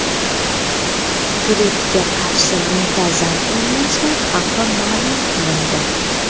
Grippga qarshi muntazam emlashlar xavfi ma’lum qilindi.